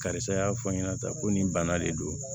Karisa y'a fɔ n ɲɛna tan ko nin bana de don